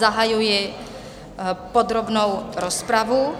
Zahajuji podrobnou rozpravu.